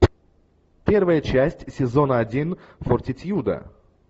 первая часть сезона один фортитьюда